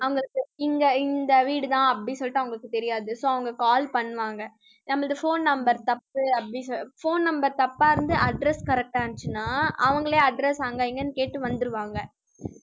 அவங்க இங்க இந்த வீடுதான் அப்படின்னு சொல்லிட்டு அவங்களுக்கு தெரியாது so அவங்க call பண்ணுவாங்க நமது phone number தப்பு அப்படி சொ~ phone number தப்பா இருந்து, address correct ஆ இருந்துச்சுன்னா அவங்களே address அங்க இங்கன்னு கேட்டு வந்துருவாங்க